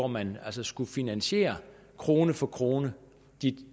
man skulle finansiere krone for krone de